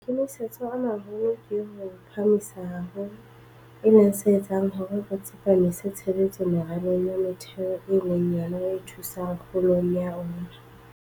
Maikemisetso a maholo ke ho o phahamisa haholo, e leng se etsang hore re tsepamise tshebetso meralong ya metheo e leng yona e thusang kgolong ya ona.